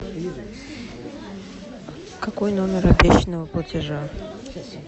какой номер обещанного платежа